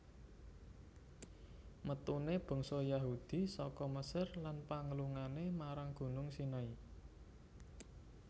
Metune bangsa Yahudi saka Mesir lan panglungane marang Gunung Sinai